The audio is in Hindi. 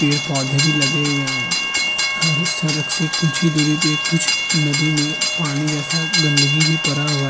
पेड़-पौधे भी लगे हुए हैं। हरे सरक से कुछ ही दूरी पे कुछ नदी में पानी जैसा गंदगी भी परा हुआ --